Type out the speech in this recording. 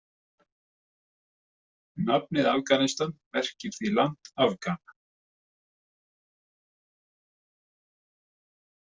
Nafnið Afganistan merkir því „land Afgana“.